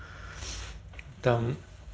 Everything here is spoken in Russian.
там